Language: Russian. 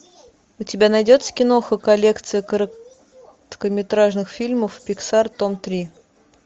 у тебя найдется киноха коллекция короткометражных фильмов пиксар том три